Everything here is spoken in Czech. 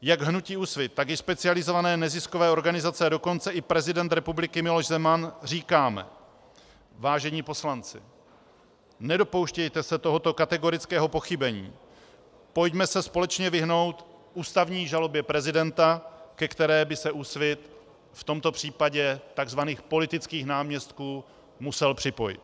Jak hnutí Úsvit, tak i specializované neziskové organizace, a dokonce i prezident republiky Miloš Zeman říkáme: Vážení poslanci, nedopouštějte se tohoto kategorického pochybení, pojďme se společně vyhnout ústavní žalobě prezidenta, ke které by se Úsvit v tomto případě tzv. politických náměstků musel připojit.